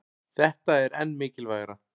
Þetta er enn mikilvægara